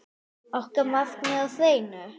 Okkar markmið er á hreinu.